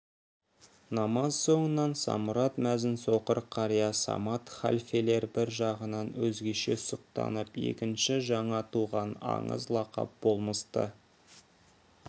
намаз соңынан самұрат мәзін соқыр қария самат халфелер бір жағынан өзгеше сұқтанып екінші жаңа туған аңыз лақап болмысты